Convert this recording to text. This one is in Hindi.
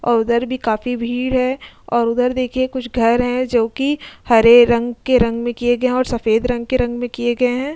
और उधर भी काफी भीड़ है और उधर देखिए कुछ घर हैं जोकि हरे रंग के रंग में किए गए हैं और सफेद रंग के रंग में किए गए हैं।